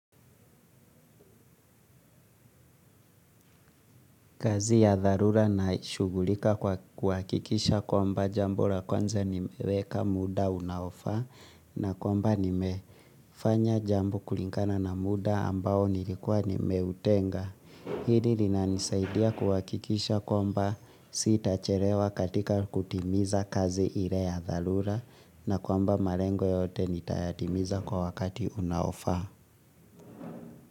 Kazi ya dharura naishugulika kwa kuhakikisha kwamba jambo la kwanza nimeweka muda unaofaa na kwamba nimefanya jambo kulingana na muda ambao nilikuwa nimeutenga. Hili linanisaidia kuhakikisha kwamba sitachelewa katika kutimiza kazi ile ya dharura na kwamba malengo yote nitayatimiza kwa wakati unaofaa.